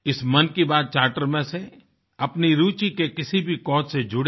इस मन की बात चार्टर में से अपनी रूचि के किसी भी काउज से जुड़ें